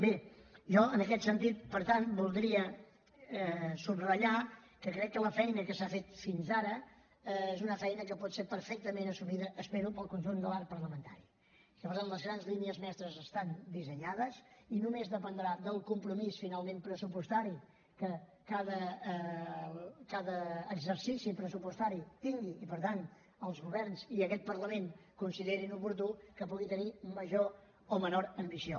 bé jo en aquest sentit per tant voldria subratllar que crec que la feina que s’ha fet fins ara és una feina que pot ser perfectament assumida espero pel conjunt de l’arc parlamentari i que per tant les grans línies mestres estan dissenyades i només dependrà del compromís finalment pressupostari que cada exercici pressupostari tingui i per tant els governs i aquest parlament considerin oportú que pugui tenir major o menor ambició